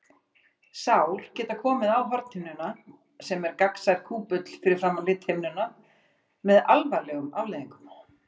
Sár geta komið á hornhimnuna, sem er gagnsær kúpull fyrir framan lithimnuna, með alvarlegum afleiðingum.